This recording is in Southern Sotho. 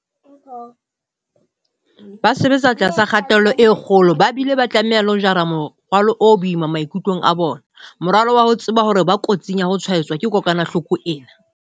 Ba sebetsa tlasa kgatello e kgolo ba bile ba tlameha le ho jara morwalo o boima maikutlong a bona, morwalo wa ho tseba hore ba kotsing ya ho tshwaetswa ke kokwanahloko ena.